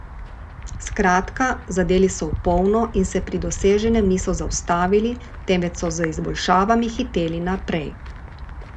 Skratka, zadeli so v polno in se pri doseženem niso zaustavili, temveč so z izboljšavami hiteli naprej.